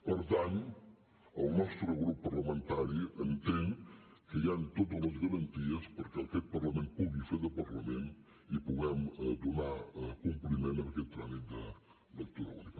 per tant el nostre grup parlamentari entén que hi han totes les garanties perquè aquest parlament pugui fer de parlament i puguem donar compliment en aquest tràmit de lectura única